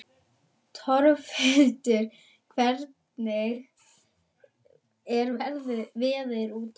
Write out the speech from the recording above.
Torfhildur, hvernig er veðrið úti?